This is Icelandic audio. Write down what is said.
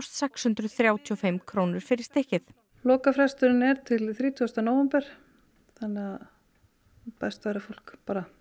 sex hundruð þrjátíu og fimm krónur fyrir stykkið lokafresturinn er til þrítugasta nóvember þannig að best væri að fólk